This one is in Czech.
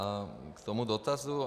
A k tomu dotazu.